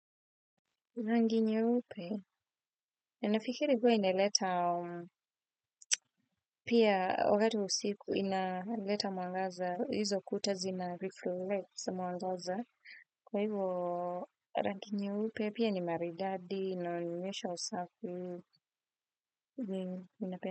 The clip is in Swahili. Rangi nyeupe, ninafikiri kuwa ina leta, pia wakati wa usiku ina leta mwangaza, izo kutazi na reflex mwangaza, kwa hivyo rangi nyeupe, pia ni maridadi, inaonyesha usafi, ninape.